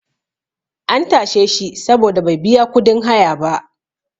an tashe shi saboda bai biya kudin haya ba